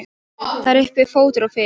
Það er uppi fótur og fit.